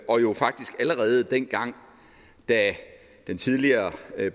og jo faktisk allerede dengang da den tidligere